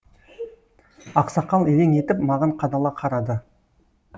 ақсақал елең етіп маған қадала қарады